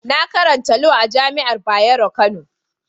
Na karanta Lau a'jami'an Bayero Kano.